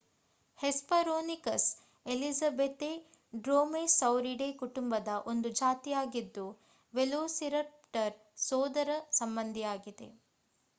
hesperonychus elizabethae Dromaeosauridae ಕುಟುಂಬದ ಒಂದು ಜಾತಿಯಾಗಿದ್ದು ವೆಲೋಸಿರಪ್ಟರ್ ಸೋದರ ಸಂಬಂಧಿಯಾಗಿದೆ